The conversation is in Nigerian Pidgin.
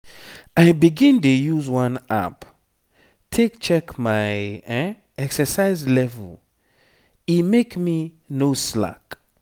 i begin dey use one app take check my exercise level e make me no slack.